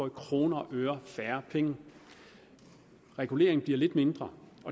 i kroner og øre får færre penge reguleringen bliver lidt mindre